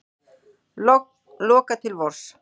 Loka til vors